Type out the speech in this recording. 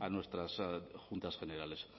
a nuestras juntas generales